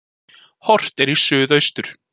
Horft er í suðaustur.